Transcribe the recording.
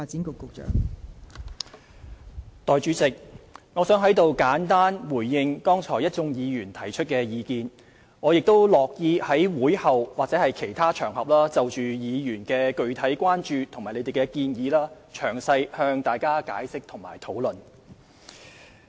代理主席，我想在此簡單回應剛才一眾議員提出的意見，我亦樂意在會後或其他場合就議員的具體關注及建議詳細向大家解釋及討論。